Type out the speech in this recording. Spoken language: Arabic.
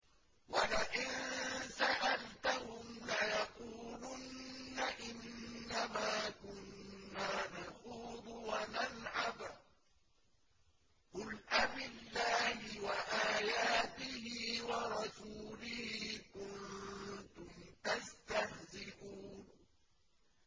وَلَئِن سَأَلْتَهُمْ لَيَقُولُنَّ إِنَّمَا كُنَّا نَخُوضُ وَنَلْعَبُ ۚ قُلْ أَبِاللَّهِ وَآيَاتِهِ وَرَسُولِهِ كُنتُمْ تَسْتَهْزِئُونَ